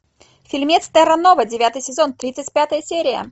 фильмец терра нова девятый сезон тридцать пятая серия